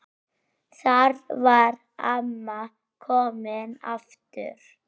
Þar var amma komin aftur.